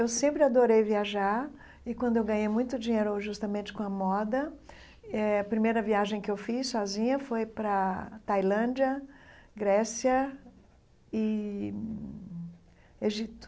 Eu sempre adorei viajar e quando eu ganhei muito dinheiro justamente com a moda, eh a primeira viagem que eu fiz sozinha foi para Tailândia, Grécia e Egito.